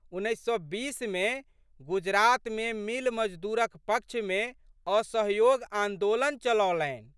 उन्नैस सए बीसमे गुजरातमे मिल मजदूरक पक्षमे असहयोग आन्दोलन चलौलनि।